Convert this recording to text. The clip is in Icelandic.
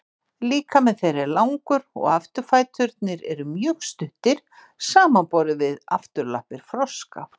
Líkami þeirra er langur og afturfæturnir eru mjög stuttir samanborið við afturlappir froska.